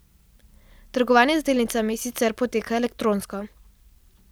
Trgovanje z delnicami sicer poteka elektronsko.